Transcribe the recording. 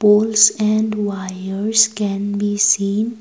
tools and wires can be seen.